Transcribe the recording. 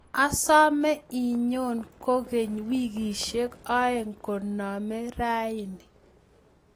Asome inyoo kukeny wikisiek oeng' koname rauni